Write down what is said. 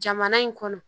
Jamana in kɔnɔ